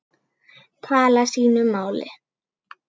tala sínu máli.